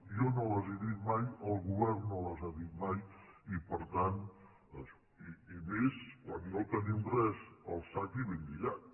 jo no les he dites mai el govern no les ha dites mai i més quan no tenim res al sac i ben lligat